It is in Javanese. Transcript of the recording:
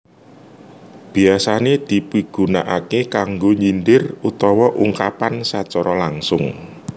Biasané dipigunakaké kanggo nyindir utawa ungkapan sacara langsung